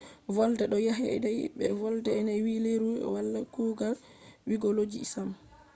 volde ɗo yaadai be volde ne vi leuru wala kugal giyologi sam